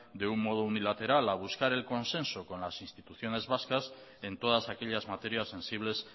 de un modo unilateral a buscar el consenso con las instituciones vascas en todas aquellas materias sensibles